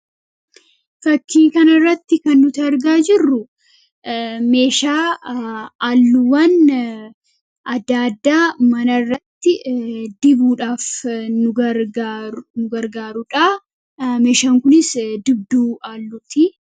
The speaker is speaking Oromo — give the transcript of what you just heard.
Fakkii kanarratti kan nuti argaa jirru meeshaa halluuwwan adda addaa manarratti dibuudhaaf nu gargaarudha. Meeshaan kunis dibduu halluuti.